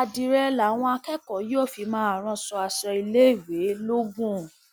àdírẹ làwọn akẹkọọ yóò fi máa rán aṣọ iléèwé lọgun